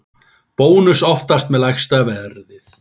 Bónus oftast með lægsta verðið